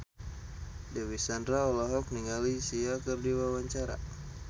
Dewi Sandra olohok ningali Sia keur diwawancara